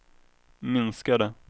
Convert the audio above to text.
minskade